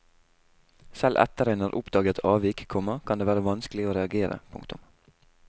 Selv etter en har oppdaget avvik, komma kan det være vanskelig å reagere. punktum